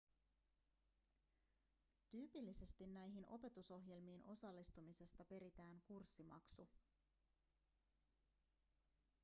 tyypillisesti näihin opetusohjelmiin osallistumisesta peritään kurssimaksu